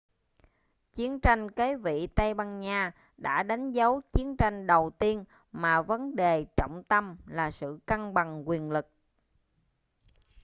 chiến tranh kế vị tây ban nha đã đánh dấu chiến tranh đầu tiên mà vấn đề trọng tâm là sự cân bằng quyền lực